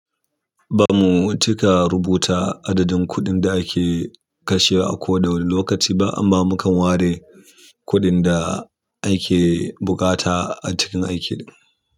Ba mu cika rubuta adadin kuɗin da ake kashe a koda wani lokaci ba, amma mukan ware kuɗin da ake buƙata a cikin aiki.